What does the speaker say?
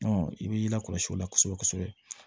i b'i lakɔlɔsi o la kosɛbɛ kosɛbɛ